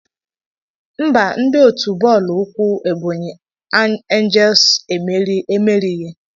Mba, ndi ọtu bọọlụ ukwu Ebonyi angles emerighị.